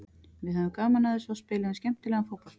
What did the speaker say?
Við höfðum gaman af þessu og spiluðum skemmtilegan fótbolta.